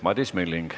Madis Milling.